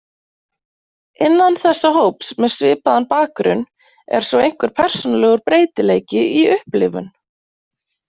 Innan þessa hóps með svipaðan bakgrunn er svo einhver persónulegur breytileiki í upplifun.